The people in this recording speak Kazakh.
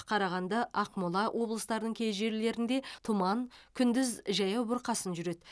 қарағанды ақмола облыстарының кей жерлерінде тұман күндіз жаяу бұрқасын жүреді